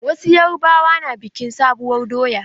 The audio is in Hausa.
Wasu yarubawa na bikin sabuwar doya.